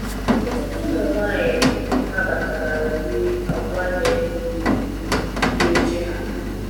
ọtụtụ ụmụ nwanyi nnabatara ụdi agwa nyere ndi di oche ha